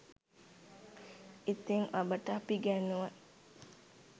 ඉතින් ඔබට අපි ඉගැන්නුව